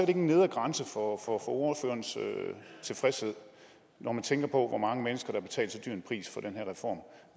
en nedre grænse for ordførerens tilfredshed når man tænker på hvor mange mennesker der har betalt så dyr en pris for den her reform